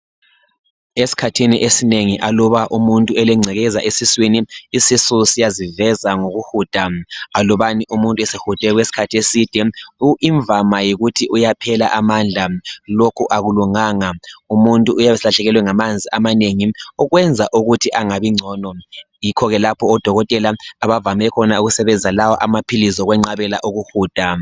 Esikhathini esinengi aluba umuntu elengcekeza esiswini, isisu siyaziveza ngokuhuda. Alubani umuntu esehude okwesikhathi eside imvama yikuthi uyaphela amandla, lokhu akulunganga. Umuntu uyabe eselahlekelwe ngamanzi amanengi ukwenza ukuthi angabi ngcono. Yikho ke lapho odokotela abavame khona ukusebenzisa lawa amaphilisi ukwenqabela ukuhuda.